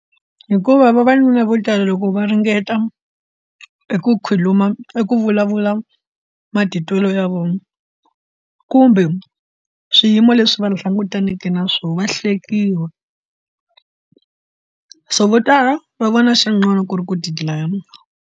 Hikuva vavanuna vo tala loko va ringeta eku khuluma i ku vulavula matitwelo ya vona kumbe swiyimo leswi va langutaneke na swona va hlekiwa so vo tala va vona xin'wana ku ri ku tidlaya.